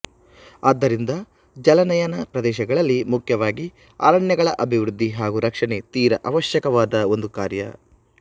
ಆದ್ದರಿಂದ ಜಲಾನಯನ ಪ್ರದೇಶಗಳಲ್ಲಿ ಮುಖ್ಯವಾಗಿ ಅರಣ್ಯಗಳ ಅಭಿವೃದ್ಧಿ ಹಾಗೂ ರಕ್ಷಣೆ ತೀರ ಅವಶ್ಯಕವಾದ ಒಂದು ಕಾರ್ಯ